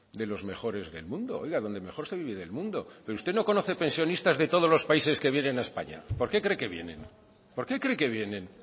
de los mejores del mundo oiga donde mejor se vive del mundo pero usted no conoce pensionistas de todos los países que vienen a españa por qué cree que vienen por qué cree que vienen